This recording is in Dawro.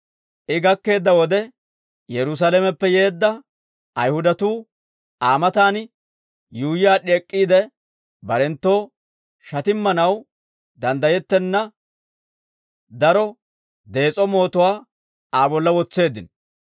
I gakkeedda wode, Yerusaalameppe yeedda Ayihudatuu Aa matan yuuyyi aad'd'i ek'k'iide, barenttoo shatimmanaw danddayettenna daro dees'o mootuwaa Aa bolla wotseeddino.